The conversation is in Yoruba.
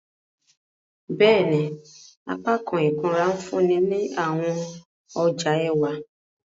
Bẹẹni, apakan ikunra nfunni awọn ọja ẹwa.